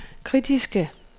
kritiske